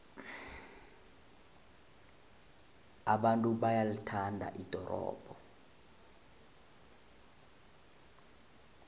abantu bayalithanda ldorobho